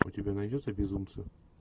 у тебя найдется безумцы